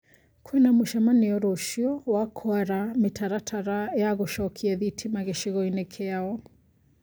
Kwĩna mũcemanio rũcio wa kwara mĩtaratara ya gũcokia thitima gĩcigo-inĩ kĩao